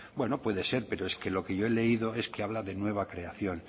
bueno puede ser pero lo que yo he leído es que habla de nueva creación